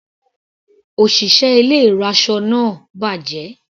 Òṣìṣẹ́ ilé ìraṣọ náà bàjẹ́.